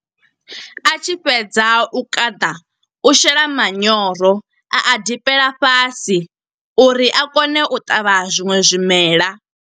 A tshi fhedza u kaṱa, u shela manyoro. A a ḓipela fhasi, uri a kone u ṱavha zwiṅwe zwimela.